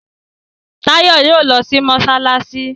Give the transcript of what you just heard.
Tayo yíò lọ sì masalasi.